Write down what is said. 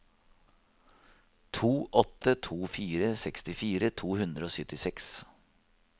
to åtte to fire sekstifire to hundre og syttiseks